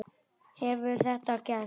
Hefur þetta gerst?